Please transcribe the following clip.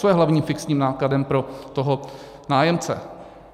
Co je hlavním fixním nákladem pro toho nájemce?